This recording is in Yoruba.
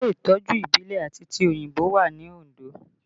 Ilé Ìtọ́jú ìbílẹ̀ àti tòyìnbó wà ní Ondo